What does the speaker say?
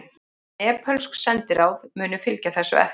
Nepölsk sendiráð munu fylgja þessu eftir